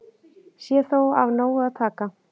Sé þó af nógu að taka